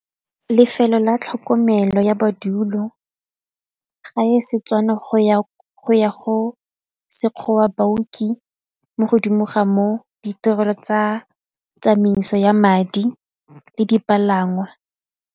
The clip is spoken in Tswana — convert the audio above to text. Lefelo la tlhokomelo ya madulo, ga e Setswana go ya go Sekgowa, baoki mo godimo ga moo ditirelo tsa tsamaiso ya madi le dipalangwa.